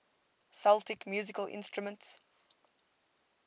celtic musical instruments